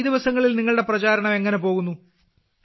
ഈ ദിവസങ്ങളിൽ നിങ്ങളുടെ പ്രചാരണം എങ്ങനെ പോകുന്നു